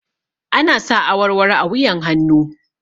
Ana sa awarwaro a wuyan hannu